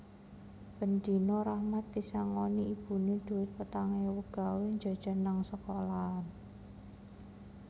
Ben dino Rahmat disangoni ibune dhuwit petang ewu gawe njajan nang sekolahan